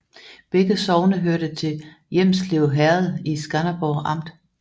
Begge sogne hørte til Hjelmslev Herred i Skanderborg Amt